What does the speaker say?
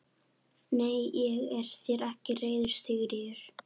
Nei, ég er þér ekki reiður Sigríður.